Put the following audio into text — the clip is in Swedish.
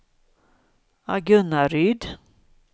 Agunnaryd